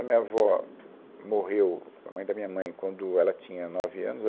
A minha avó morreu, a mãe da minha mãe, quando ela tinha nove anos.